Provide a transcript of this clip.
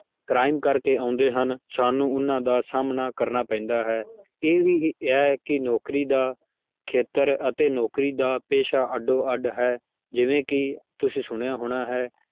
Crime ਕਰਕੇ ਆਉਂਦੇ ਹਨ, ਸਾਨੂੰ ਉਹਨਾਂ ਦਾ ਸਾਹਮਣਾ ਕਰਨਾ ਪੈਂਦਾ ਹੈ ਇਹ ਵੀ ਹੈ ਕਿ ਨੌਕਰੀ ਦਾ ਖੇਤਰ ਅਤੇ ਨੌਕਰੀ ਦਾ ਪੇਸ਼ਾ ਅੱਡ ਅੱਡ ਹੈ ਜਿਵੇਂ ਕਿ ਤੁਸੀਂ ਸੁਣਿਆ ਹੋਣਾ ਹੈ